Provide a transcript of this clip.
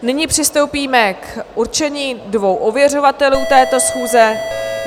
Nyní přistoupíme k určení dvou ověřovatelů této schůze.